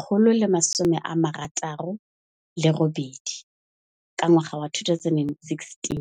168 ka ngwaga wa 2016.